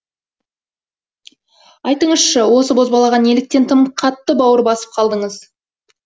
айтыңызшы осы бозбалаға неліктен тым қатты бауыр басып қалдыңыз